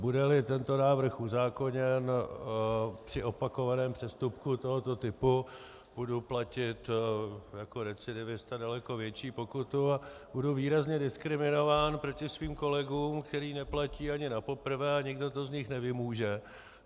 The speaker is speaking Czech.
Bude-li tento návrh uzákoněn, při opakovaném přestupku tohoto typu budu platit jako recidivista daleko větší pokutu a budu výrazně diskriminován proti svým kolegům, kteří neplatí ani napoprvé a nikdo to z nich nevymůže.